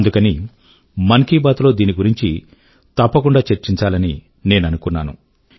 అందుకని మన్ కీ బాత్ లో దీని గురించి తప్పకుండా చర్చించాలని నేను అనుకున్నాను